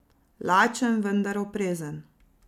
Lačen, vendar oprezen.